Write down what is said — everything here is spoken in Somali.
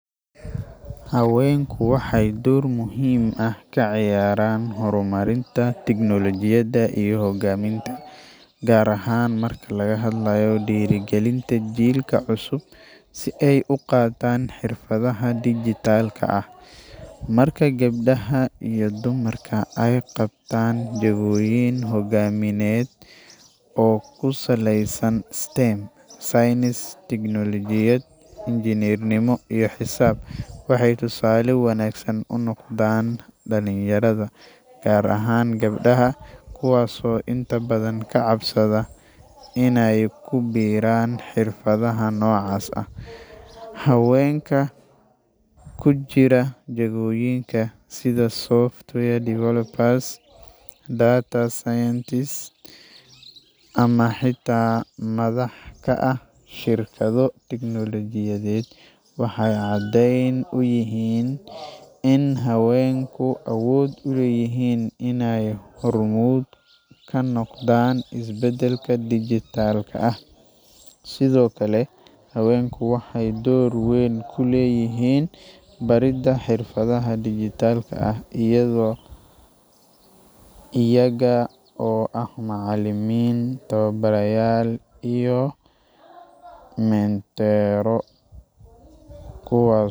Haweenku waxay door muhiim ah ka ciyaaraan horumarinta tiknolojiyada iyo hogaaminta gaar ahaan marka laga hadlayo dhiiri gelinta jiilka cusub si ay u qaataan xirfadaha dijitaalka ah marka gabdhaha iyo dumarka ay qabtaan jagooyin hoggaamineed oo ku saleysan stem saynis teknolojiyad injineernimo iyo xisaab waxay tusaale wanaagsan u noqdaan dhalinyarada gaar ahaan gabdhaha kuwaasoo inta badan ka cabsada in ay ku biiraan xirfadaha noocaas ah. haweenka ku jira jagooyinka sida software developers data scientist ama xitaa madaxda ah shirkado teknolojiyadeed waxay caddayn u yihiin in haweenku awood u leeyihiin inay hormuud ka noqdaan isbeddelka digital ah. Sidoo kale haweenku waxay door weyn ku leeyihiin baridda xirfadaha dijitaalka ah iyaaga aah macalimin tobobarayaal iyo menteroo kuwas.